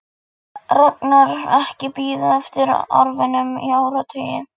Ragnar ekki bíða eftir arfinum í áratugi.